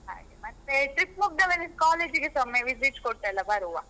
ಹಾಗೆ, ಮತ್ತೆ trip ಮುಗ್ದ ಮೇಲೆ ಕಾಲೇಜಿಗೆಸ ಒಮ್ಮೆ ವಿಸಿಟ್ ಕೊಟ್ಟೆಲ್ಲ ಬರುವ.